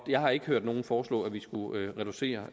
jeg har ikke hørt nogen foreslå at vi skulle reducere